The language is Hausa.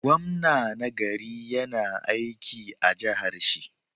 Gwamna na gari yAna aiki a jahar shi